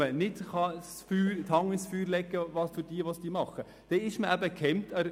Für solche Leute kann man nicht die Hand ins Feuer legen.